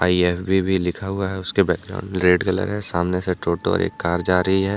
यफ_बी भी लिखा हुआ उसके बैकग्राउंड रेड कलर है सामने से टोटो एक कार जा रही है।